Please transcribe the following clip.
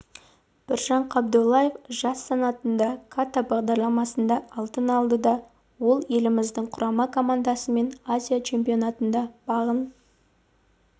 біржан қабдоллаев жас санатында ката бағдарламасында алтын алды ол да еліміздің құрама командасымен азия чемпионатында бағын